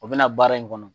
O bɛna baara in kɔnɔ